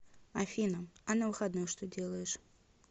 афина а на выходных что делаешь